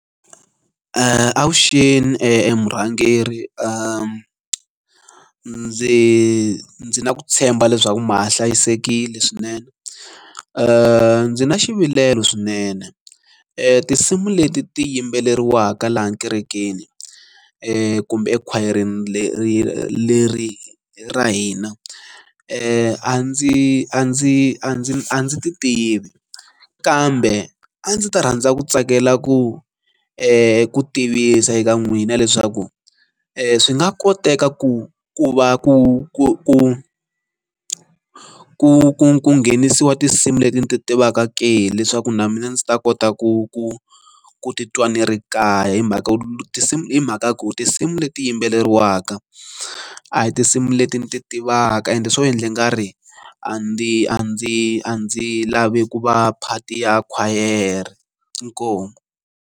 Avuxeni emurhangeri ndzi ndzi na ku tshemba leswaku ma ha hlayisekile swinene. Ndzi na xivilelo swinene, tinsimu leti ti yimbeleriwaka laha ekerekeni kumbe ekhwayereni leri leri ra hina a ndzi a ndzi a ndzi a ndzi a ndzi ti tivi kambe a ndzi ta rhandza ku tsakela ku, ku tivisa eka n'wina leswaku swi nga koteka ku ku va ku ku ku nghenisiwa tinsimu leti ndzi ti tivaku leswaku na mina ndzi ta kota ku ku ku titwa ni ri kaya hi mhaka ku tinsimu hi mhaka ya ku tinsimu leti yimbeleriwaka a hi tinsimu leti ndzi ti tivaka ende swo endla ingari a ndzi a ndzi a ndzi lavi ku va part ya khwayere inkomu.